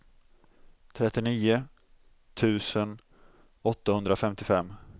trettionio tusen åttahundrafemtiofem